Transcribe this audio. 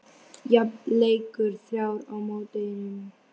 Jafn leikur: þrjár á móti einum.